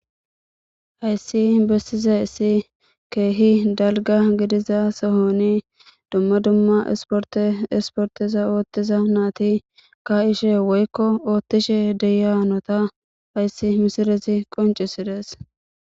Hayssi bessiza issi keehi dalga gidiza sohoni dumma dumma esporte esporteza ooththiza naati ka ishe woykko oothtishe deyanota hayssi misirezi qoncisides.